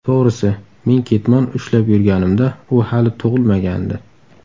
To‘g‘risi, men ketmon ushlab yurganimda u hali tug‘ilmagandi.